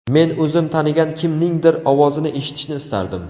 Men o‘zim tanigan kimningdir ovozini eshitishni istardim.